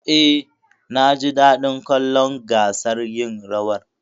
Eh, naji daɗin kallon gasar yin rawar.